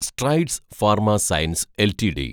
strides pharma science LTD